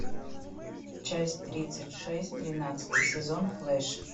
часть тридцать шесть тринадцатый сезон флеш